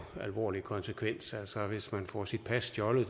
alvorlig konsekvens altså hvis man får sit pas stjålet